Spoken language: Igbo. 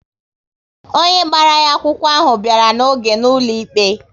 Onye gbara ya akwụkwọ ahụ bịara n'oge na-ụlọ ikpe